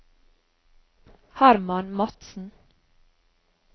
Herman Madsen